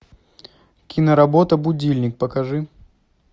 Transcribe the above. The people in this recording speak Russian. киноработа будильник покажи